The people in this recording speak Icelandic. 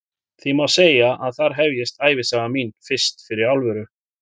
Því má segja að þar hefjist ævisaga mín fyrst fyrir alvöru.